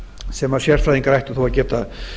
sem sérfræðingar ættu þó að geta